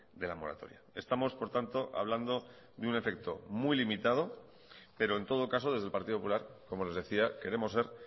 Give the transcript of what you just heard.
de la moratoria estamos por tanto hablando de un efecto muy limitado pero en todo caso desde el partido popular como les decía queremos ser